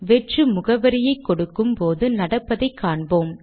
வெற்று முகவரியை கொடுக்கும் போது நடப்பதை காண்போம்